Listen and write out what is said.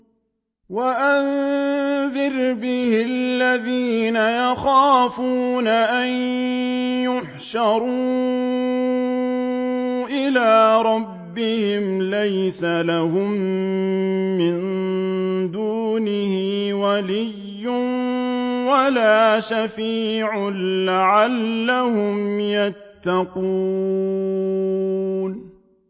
وَأَنذِرْ بِهِ الَّذِينَ يَخَافُونَ أَن يُحْشَرُوا إِلَىٰ رَبِّهِمْ ۙ لَيْسَ لَهُم مِّن دُونِهِ وَلِيٌّ وَلَا شَفِيعٌ لَّعَلَّهُمْ يَتَّقُونَ